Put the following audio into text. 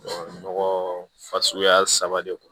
nɔgɔ fasuguya saba de don